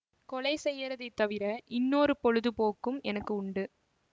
கொலை செய்யறதைத் தவிர இன்னொரு பொழுது போக்கும் எனக்கு உண்டு